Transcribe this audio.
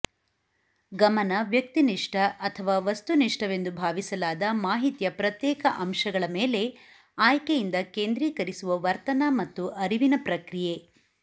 ಗಮನ ವ್ಯಕ್ತಿನಿಷ್ಠ ಅಥವಾ ವಸ್ತುನಿಷ್ಠವೆಂದು ಭಾವಿಸಲಾದ ಮಾಹಿತಿಯ ಪ್ರತ್ಯೇಕ ಅಂಶಗಳ ಮೇಲೆ ಆಯ್ಕೆಯಿಂದ ಕೇಂದ್ರೀಕರಿಸುವ ವರ್ತನ ಮತ್ತು ಅರಿವಿನ ಪ್ರಕ್ರಿಯೆ